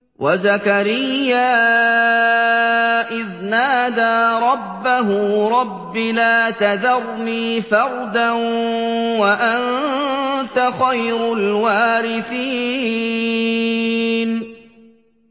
وَزَكَرِيَّا إِذْ نَادَىٰ رَبَّهُ رَبِّ لَا تَذَرْنِي فَرْدًا وَأَنتَ خَيْرُ الْوَارِثِينَ